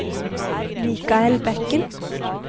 Mikael Bekken